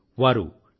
వారు టి